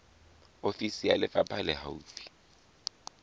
ofisi ya lefapha le haufi